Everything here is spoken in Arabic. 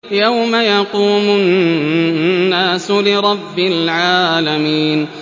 يَوْمَ يَقُومُ النَّاسُ لِرَبِّ الْعَالَمِينَ